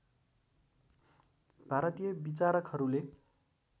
भारतीय विचारकहरूले